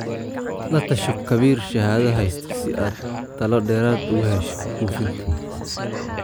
La tasho khabiir shahaado haysta si aad talo dheeraad ah uga hesho buufinta.